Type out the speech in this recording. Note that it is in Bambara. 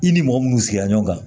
I ni mɔgɔ munnu sigira ɲɔgɔn kan